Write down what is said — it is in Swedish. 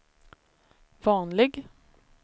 vanlig